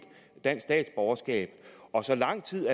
dansk statsborgerskab og så lang tid